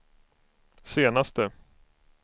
senaste